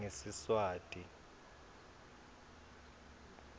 ngesiswati